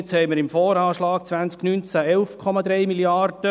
Jetzt haben wir im VA 2020 11,3 Mrd. Franken.